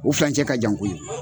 O filancɛ ka jan koye